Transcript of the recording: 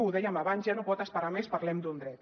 ho dèiem abans ja no pot esperar més parlem d’un dret